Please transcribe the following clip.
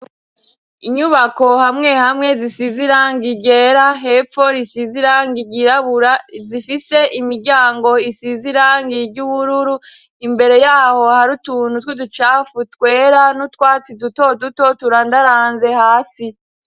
Inyubako hamwe hamwe zisizirangi ryera hepfo risizirangi ryirabura zifite imiryango isizirangi ry'ubururu imbere yaho hari utuntu twu ducafu twera n'utwatsi duto duto turandaranze hasi.